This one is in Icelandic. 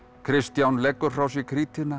Kristján leggur frá sér